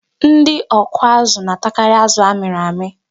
Ndị ọkụazụ na-atakarị azụ a mịrị amị.